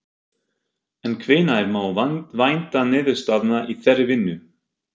En hvenær má vænta niðurstaðna í þeirri vinnu?